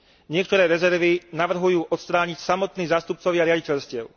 Niektoré rezervy navrhujú odstrániť samotní zástupcovia riaditeľstiev.